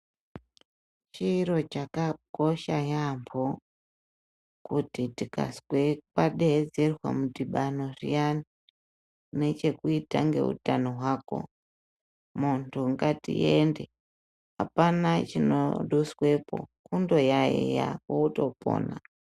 Chiro chakakosha yambo kuti tikazwe kwadeedzerwe mudhibano zviyani unechekuita ngeutano hwako muntu ngatiende apana chinoduswepo kundoyayiya wotopona.